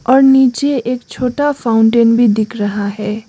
और नीचे एक छोटा फाउंटेन भी दिख रहा है।